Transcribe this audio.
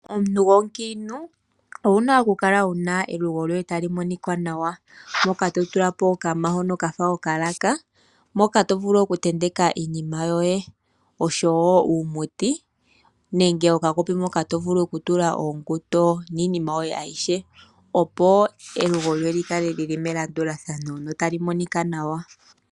Omuntu gwomukiintu owu na okukala wu na elugo lyoye tali monika nawa mpoka to tula po okanima hono ka fa okalaka mpoka to vulu okutenteka iinima yoye osho wo uumuti nenge okakopi mpoka to vulu okutula uusindo niinima yoye ayihe opo elugo lyoye lyi kale lyili melandulathano notali monika nawa.